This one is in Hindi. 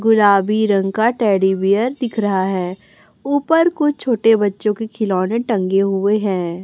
गुलाबी रंग का टेडी बियर दिख रहा है ऊपर कुछ छोटे बच्चों के खिलौने टंगे हुए हैं।